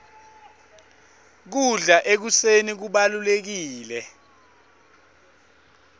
kudla ekuseni kubalulekile